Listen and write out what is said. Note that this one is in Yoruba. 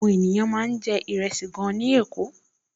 Àwọn èèyàn máa ń jẹ ìrẹsì gan-an ní Èkó